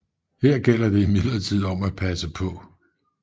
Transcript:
Her gælder det imidlertid om at passe paa